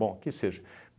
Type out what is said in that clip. Bom, que seja.